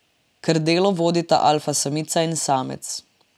Krdelo vodita alfa samica in samec.